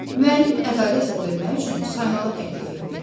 Müəllim ədalətlə bölmək üçün saymağı təklif etdi.